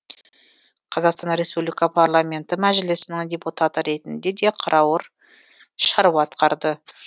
қазақстан республика парламенті мәжілісінің депутаты ретінде де қырауыр шаруа атқарды